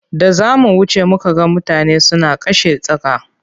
Da za mu wuce muka ga mutane suna kashe tsaka.